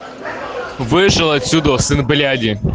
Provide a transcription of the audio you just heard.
вышел отсюда сын бляди